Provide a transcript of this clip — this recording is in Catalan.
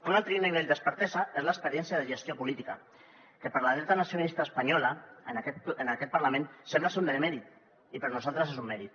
un altre nivell d’expertesa és l’experiència en gestió política que per la dreta nacionalista espanyola en aquest parlament sembla ser un demèrit i per nosaltres és un mèrit